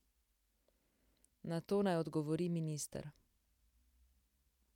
Na to naj odgovori minister.